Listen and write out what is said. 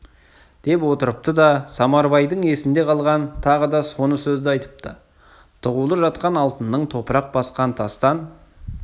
деп отырыпты да самарбайдың есінде қалған тағы соны сөзді айтыпты тығулы жатқан алтынның топырақ басқан тастан